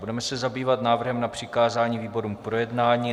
Budeme se zabývat návrhem na přikázání výborům k projednání.